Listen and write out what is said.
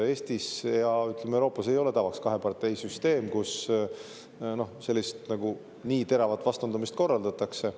Eestis ja mujal Euroopas ei ole tavaks kaheparteisüsteem, kus nagu nii teravat vastandamist korraldatakse.